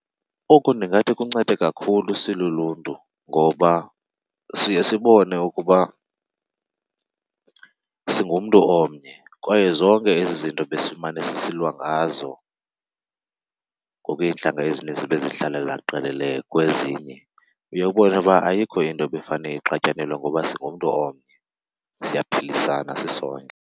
Oku ndingathi kuncede kakhulu siluluntu ngoba siye sibone ukuba singumntu omnye kwaye zonke ezi zinto besimane sisilwa ngazo ngoku iintlanga ezinintsi bezihlalela qelele kwezinye, uye ubone uba ayikho into ebekufane ixatyanelwe ngoba singumntu omnye, siyaphilisana sisonke.